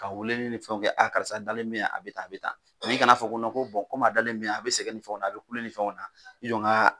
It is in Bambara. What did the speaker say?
Ka weeleli ni fɛnw kɛ a karisa dalen bɛ yan a bɛ tan a bɛ tan i kan'a fɔ ko komi a dalen bɛ yan a bɛ sɛgɛn ni fɛnw na a bɛ kule ni fɛnw na i jɔ n k'a.